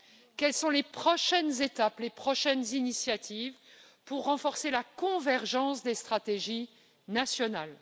Quelles sont les prochaines étapes, les prochaines initiatives pour renforcer la convergence des stratégies nationales?